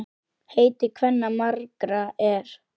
Heiti kvenna margra er.